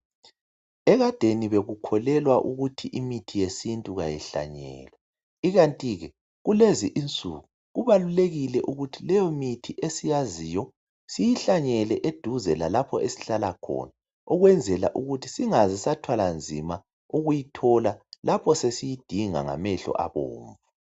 Ekadeni bekukholwelwa ukuthi imithi yesintu ayihlanyelwa ikanti kulezi insuku kubalulekile ukuthi leyo imithi esiyaziyo siyihlanyele eduze lalapho esihlala khona ukwenzela ukuthi singabe sathwala nizma ukuyithola lapho sesiyidinga ngamehlo abomvu.